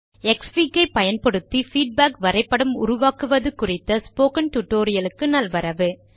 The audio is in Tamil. க்ஸ்ஃபிக் ஐ பயன்படுத்தி பீட்பேக் வரைபடம் உருவாக்குவது குறித்த ஸ்போக்கன் டியூட்டோரியல் க்கு நல்வரவு